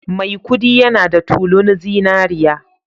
Maikudi yana da tulun zinariya